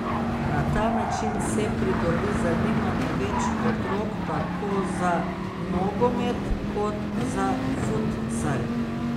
Na ta način se pridobi zanimanje več otrok tako za nogomet kot za futsal.